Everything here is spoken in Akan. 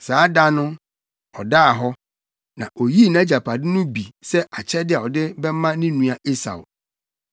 Saa da no, ɔdaa hɔ. Na oyii nʼagyapade no bi sɛ akyɛde a ɔde bɛma ne nua Esau.